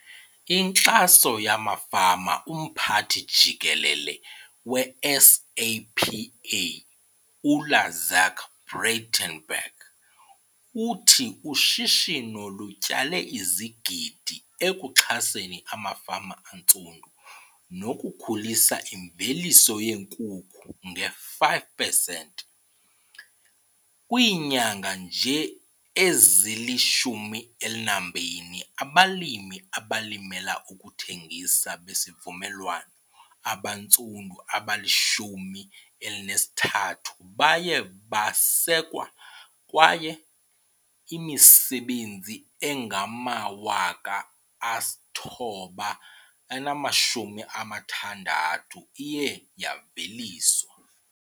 Inkxaso yamafama Umphathi Jikelele we-SAPA u-Izaak Breitenbach uthi ushishino lutyale izigidi ekuxhaseni amafama antsundu nokukhulisa imveliso yeenkukhu nge-5 pesenti. Kwiinyanga nje ezili-12, abalimi abalimela ukuthengisa besivumelwano abantsundu abali-13 baye basekwa kwaye imisebenzi engama-960 iye yaveliswa.